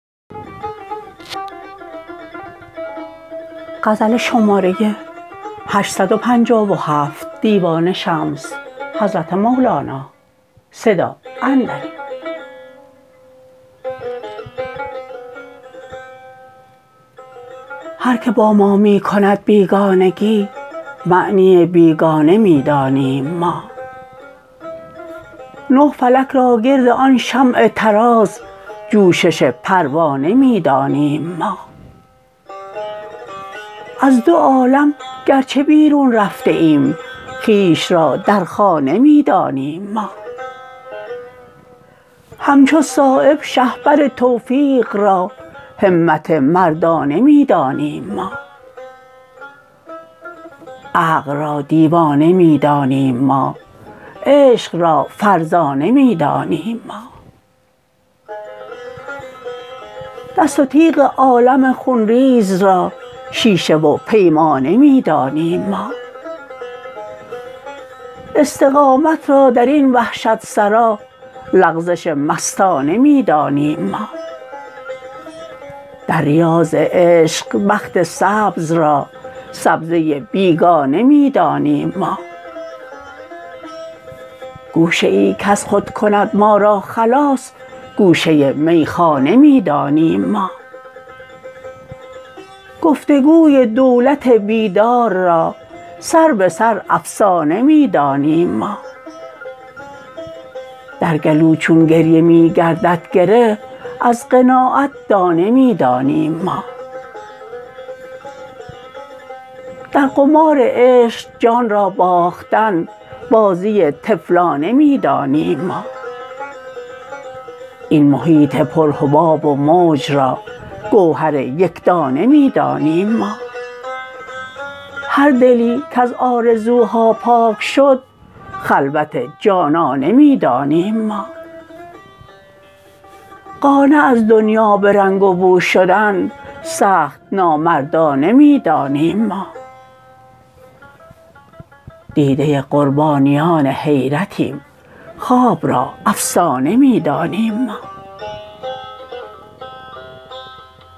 هر که با ما می کند بیگانگی معنی بیگانه می دانیم ما نه فلک را گرد آن شمع طراز جوشش پروانه می دانیم ما از دو عالم گرچه بیرون رفته ایم خویش را در خانه می دانیم ما همچو صایب شهپر توفیق را همت مردانه می دانیم ما عقل را دیوانه می دانیم ما عشق را فرزانه می دانیم ما دست و تیغ عالم خونریز را شیشه و پیمانه می دانیم ما استقامت را درین وحشت سرا لغزش مستانه می دانیم ما در ریاض عشق بخت سبز را سبزه بیگانه می دانیم ما گوشه ای کز خود کند ما را خلاص گوشه میخانه می دانیم ما گفتگوی دولت بیدار را سر به سر افسانه می دانیم ما در گلو چون گریه می گردد گره از قناعت دانه می دانیم ما در قمار عشق جان را باختن بازی طفلانه می دانیم ما این محیط پر حباب و موج را گوهر یکدانه می دانیم ما هر دلی کز آرزوها پاک شد خلوت جانانه می دانیم ما قانع از دنیا به رنگ و بو شدن سخت نامردانه می دانیم ما دیده قربانیان حیرتیم خواب را افسانه می دانیم ما